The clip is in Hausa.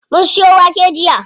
Mun siyo wake jiya.